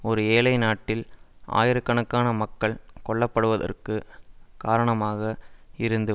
ஒரு ஏழைநாட்டில் ஆயிரக்கணக்கான மக்கள் கொல்ல படுவதற்கு காரணமாக இருந்து